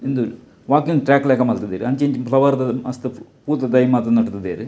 ಉಂದು walking track ಲೆಕ ಮಲ್ತುದೆರ್ ಅಂಚಿ ಇಂಚಿ ಪ್ಲವರ್ ದ ಮಸ್ತ್ ಪೂತ ದೈ ಮಾತ ನಟ್ತುದೆರ್.